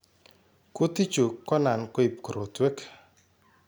Kuutik chu konan koib korotwek